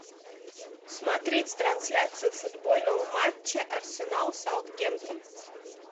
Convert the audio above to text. смотреть трансляцию футбольного матча арсенал саутгемптон